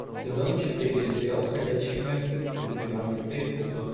сезон четыре сериал ходячие мертвецы тринадцатый эпизод